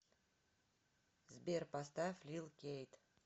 сбер поставь лил кейт